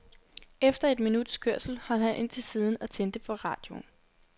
Efter et minuts kørsel holdt han ind til siden og tændte for radioen.